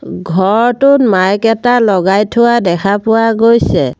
ঘৰটোত মাইক এটা লগাই থোৱা দেখা পোৱা গৈছে।